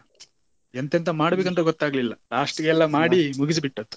ಎಂತ ಎಂತ ಮಾಡ್ಬೇಕಂತ ಗೊತ್ತಾಗ್ಲಿಲ್ಲ last ಗೆ ಎಲ್ಲ ಮಾಡಿ ಮುಗಿಸಿಬಿಟ್ಟದ್ದು.